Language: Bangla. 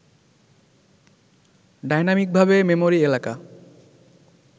ডাইনামিকভাবে মেমরি এলাকা